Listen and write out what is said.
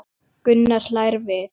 Gunnar hlær við.